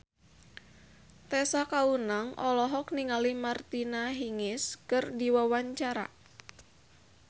Tessa Kaunang olohok ningali Martina Hingis keur diwawancara